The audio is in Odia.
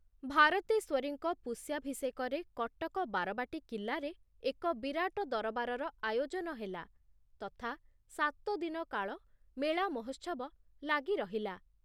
ଭାରତେଶ୍ୱରୀଙ୍କ ପୁଷ୍ୟାଭିଷେକରେ କଟକ ବାରବାଟୀ କିଲ୍ଲାରେ ଏକ ବିରାଟ ଦରବାରର ଆୟୋଜନ ହେଲା, ତଥା ସାତଦିନ କାଳ ମେଳା ମହୋତ୍ସବ ଲାଗି ରହିଲା।